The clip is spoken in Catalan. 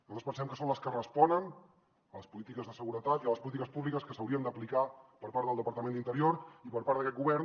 nosaltres pensem que són les que responen a les polítiques de seguretat i a les polítiques públiques que s’haurien d’aplicar per part del departament d’interior i per part d’aquest govern